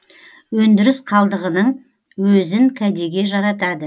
өндіріс қалдығының өзін кәдеге жаратады